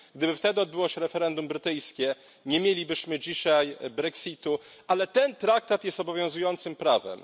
Gdyby wtedy odbyło się referendum brytyjskie, nie mielibyśmy dzisiaj brexitu. Ale ten traktat jest obowiązującym prawem.